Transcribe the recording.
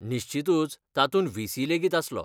निश्चीतूच तातूंत व्ही.सी. लेगीत आसलो.